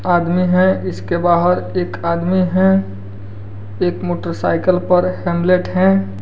आदमी है इसके बाहर एक आदमी है एक मोटरसाइकल पर हेमलेट है।